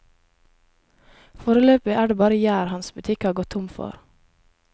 Foreløpig er det bare gjær hans butikk har gått tom for.